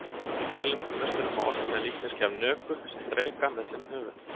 Í taílenskum musterum má oft finna líkneski af nögu sem dreka með fimm höfuð.